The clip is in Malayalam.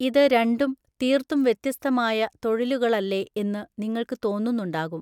ഇത് രണ്ടും തീർത്തും വ്യത്യസ്തമായ തൊഴിലുകളല്ലേ എന്നു നിങ്ങൾക്കു തോന്നുന്നുണ്ടാകും.